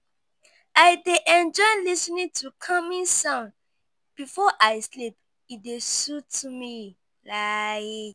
I dey enjoy lis ten ing to calming sounds before I sleep; e dey soothe me. like